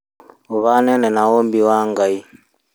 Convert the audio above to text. ũhanaine na ũmbi wa Ngai